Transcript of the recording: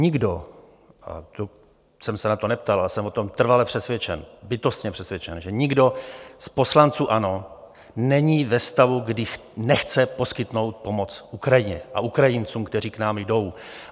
Nikdo, to jsem se na to neptal, ale jsem o tom trvale přesvědčen, bytostně přesvědčen, že nikdo z poslanců ANO není ve stavu, kdy nechce poskytnout pomoc Ukrajině a Ukrajincům, kteří k nám jdou.